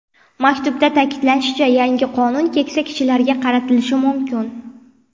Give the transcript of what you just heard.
Maktubda ta’kidlanishicha, yangi qonun keksa kishilarga qaratilishi mumkin.